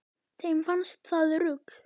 Þeim fannst það rugl